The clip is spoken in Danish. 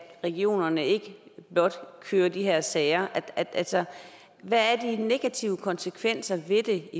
regionerne ikke blot kører de her sager altså hvad er de negative konsekvenser ved det